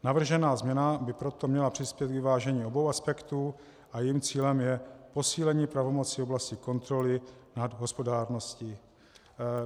Navržená změna by proto měla přispět k vyvážení obou aspektů a jejím cílem je posílení pravomoci v oblasti kontroly nad hospodárností.